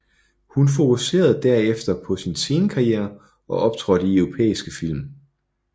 Hun fokuserede derefter på sin scenekarriere og optrådte i europæiske film